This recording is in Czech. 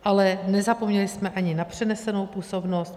Ale nezapomněli jsme ani na přenesenou působnost.